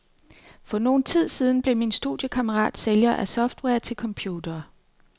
For noget tid siden blev min studiekammerat sælger af software til computere.